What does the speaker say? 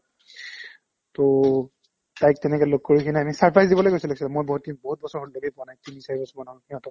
to তাইক তেনেকে লগ কৰি কিনে আমি surprise দিবলৈ গৈছিলো actually মই বতিম বহুত বছৰ হ'ল লগেই পোৱা নাই তিনি-চাৰি বছৰমান হ'ল সিহঁতক